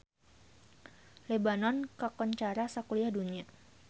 Lebanon kakoncara sakuliah dunya